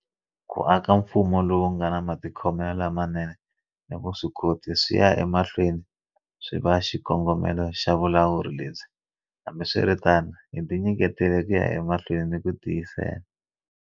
Ku aka mfumo lowu nga na matikhomelo lamanene ni vuswikoti swi ya ema hlweni swi va xikongomelo xa vulawuri lebyi. Hambiswiritano hi tinyiketele ku ya emahlweni ni ku tiyisela.